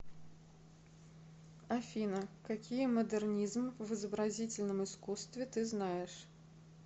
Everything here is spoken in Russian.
афина какие модернизм в изобразительном искусстве ты знаешь